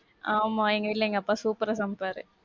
ஆமா, எங்க வீட்ல அப்பா super ஆ சமைப்பாரு.